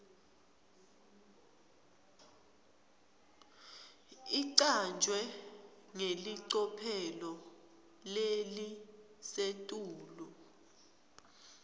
icanjwe ngelicophelo lelisetulu